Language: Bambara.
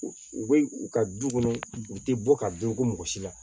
U bɛ u ka du kɔnɔ u tɛ bɔ ka don ko mɔgɔ si la